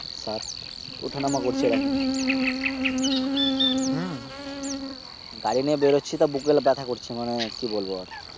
উঠা নামা করছে এই রকম। গাড়ি নিয়ে বের হচ্ছি তো মনে হয় বোকে ব্যাথা করছে। মানি কি বলব আর?